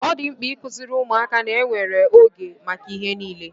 Ọ dị mkpa ikuziri ụmụaka ná enwere ego maka ihe niile